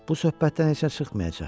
Bu söhbətdən heç nə çıxmayacaq.